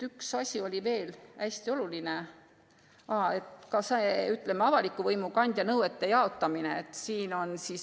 Üks asi on veel hästi oluline: avaliku võimu kandja nõuete jaotamine.